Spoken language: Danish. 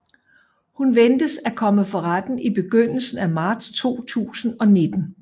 Hun ventes at komme for retten i begyndelsen af marts 2019